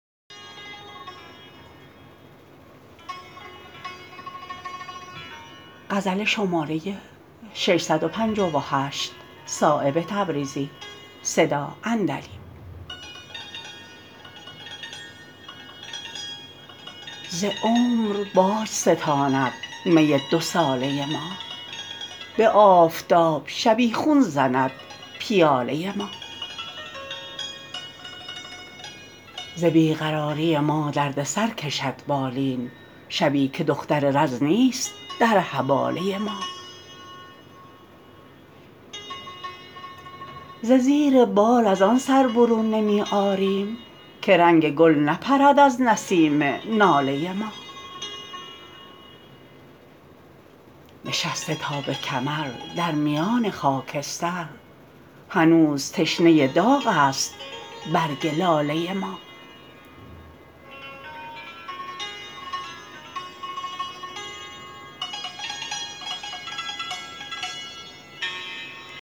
ز عمر باج ستاند می دو ساله ما به آفتاب شبیخون زند پیاله ما ز بی قراری ما دردسر کشد بالین شبی که دختر رز نیست در حباله ما ز زیر بال ازان سر برون نمی آریم که رنگ گل نپرد از نسیم ناله ما نشسته تا به کمر در میان خاکستر هنوز تشنه داغ است برگ لاله ما